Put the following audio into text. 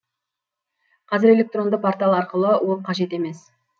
қазір электронды портал арқылы ол қажет емес